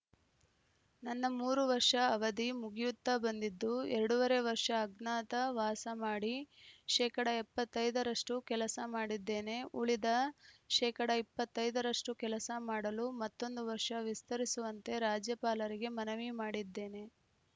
ನನ್ನ ಮೂರು ವರ್ಷ ಅವಧಿ ಮುಗಿಯುತ್ತ ಬಂದಿದ್ದು ಎರಡೂವರೆ ವರ್ಷ ಅಜ್ಞಾತ ವಾಸ ಮಾಡಿ ಶೇಕಡಾ ಎಪ್ಪತ್ತ್ ಐದ ರಷ್ಟುಕೆಲಸ ಮಾಡಿದ್ದೇನೆ ಉಳಿದ ಶೇಕಡಾ ಇಪ್ಪತ್ತ್ ಐದ ರಷ್ಟುಕೆಲಸ ಮಾಡಲು ಮತ್ತೊಂದು ವರ್ಷ ವಿಸ್ತರಿಸುವಂತೆ ರಾಜ್ಯಪಾಲರಿಗೆ ಮನವಿ ಮಾಡಿದ್ದೇನೆ